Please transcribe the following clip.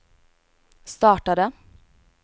startade